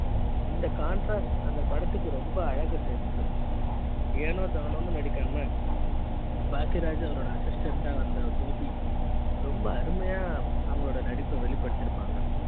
இந்த contrast அந்த படத்துக்கு ரொம்ப அழகு சேர்த்தது ஏனோ தானோ நடிக்காம பாக்கியராஜ் அவரோட assistant வந்த கோபி ரொம்ப அருமையா அவங்க ளோட நடிப்பை வெளிப்படுத்தி இருப்பாங்க